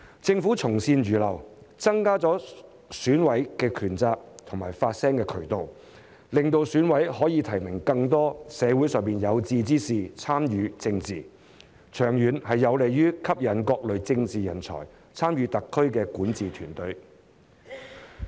政府從善如流，增加了選委的權責和發聲渠道，讓選委可以提名更多社會上的有志之士參與政治，長遠有利於吸引各類政治人才參與特區的管治團隊。